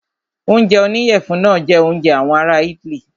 Oúnjẹ oníyẹ̀fun náà jẹ oúnjẹ àwọn ará itály.